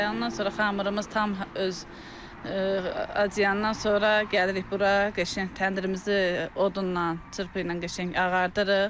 Ondan sonra xəmirimiz tam öz acılandan sonra gəlirik bura, qəşəng təndirimizi odunla, çırpı ilə qəşəng ağardırırıq.